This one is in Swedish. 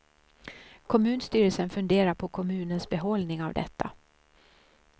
Kommunstyrelsen funderar på kommunens behållning av detta.